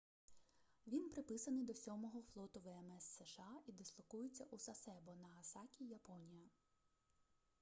він приписаний до сьомого флоту вмс сша і дислокується у сасебо нагасакі японія